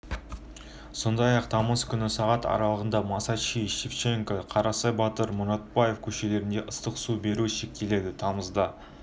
сондай-ақ тамыз күні сағат аралығында масанчи шевченко қарасай батыр мұратбаев көшелерінде ыстық су беру шектеледі тамызда